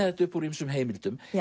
þetta upp úr ýmsum heimildum